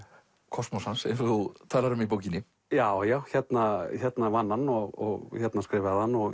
kosmos hans eins og þú talar um í bókinni já já hérna vann hann og hérna skrifaði hann og